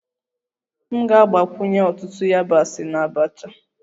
M ga-agbakwunye ọtụtụ yabasị na abacha